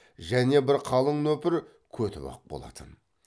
және бір қалың нөпір көтібақ болатын